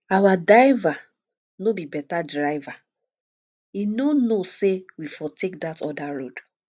our diver no be beta driver he no know say we for take dat other road